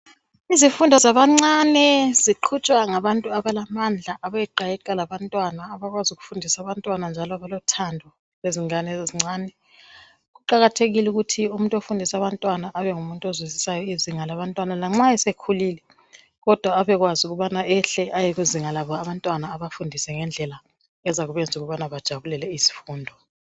Izifundo zabancane ziqhutshwa ngabantu abalamandla abayeqayeqa labantwana, abakwazi ukufundisa abantwana njalo abalothando ngezingane ezincane . Kuqakathekile ukuthi umuntu ofundisa abantwana abengumuntu ozwisisayo izinga labantwana lanxa esekhulile kodwa abekwazi ukubana ehle ayekuzinga labo abantwana abafundise ngendlela ezabenza ukubana bajabulele izifundo.